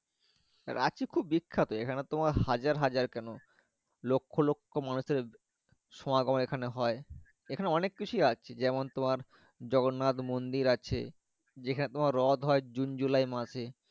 রাঁচি খুব বিখ্যাত জায়গা এখানে তোমার হাজার হাজার কেন লক্ষ লক্ষ মানুষএ সোনা গোড়া এখানে হয় সে খানে তোমার অনেক কিছু আছে যেমন তোমার জগন্নাথ মুন্দির আছে যে খানে তোমার রত হয় jun july মাসে।